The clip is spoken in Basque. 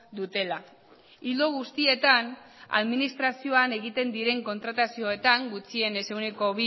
dutela ildo guztietan administrazioan egiten diren kontratazioetan gutxienez ehuneko